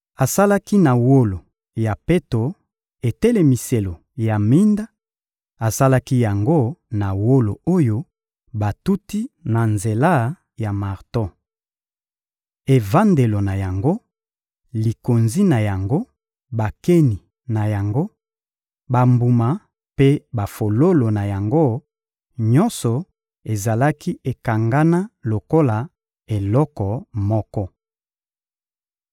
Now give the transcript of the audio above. Asalaki na wolo ya peto etelemiselo ya minda; asalaki yango na wolo oyo batuti na nzela ya marto. Evandelo na yango, likonzi na yango, bakeni na yango, bambuma mpe bafololo na yango, nyonso ezalaki ekangana lokola eloko moko.